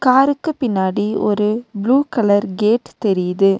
காருக்கு பின்னாடி ஒரு ப்ளூ கலர் கேட் தெரியுது.